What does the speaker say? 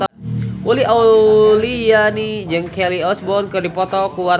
Uli Auliani jeung Kelly Osbourne keur dipoto ku wartawan